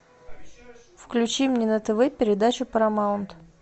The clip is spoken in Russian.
включи мне на тв передачу парамаунт